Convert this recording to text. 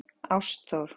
Ásþór